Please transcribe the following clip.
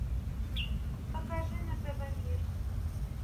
покажи на тв мир